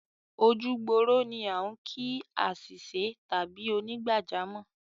Ojúgbòrò ni à n kí àṣìṣẹ́ tàbí ònìgbàjọ́mọ̀